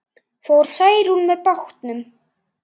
Fór Særún með bátnum.